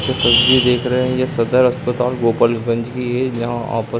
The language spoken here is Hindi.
ये तस्वीर देख रहे। ये सदर अस्पताल गोपाल गंज की है जहां --